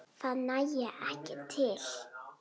En það nægi ekki til.